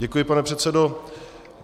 Děkuji, pane předsedo.